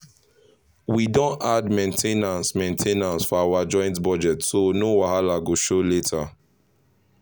we don add main ten ance main ten ance for our joint budget so no wahala go show later.